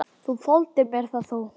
Þú þoldir mér það þó.